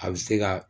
A bɛ se ka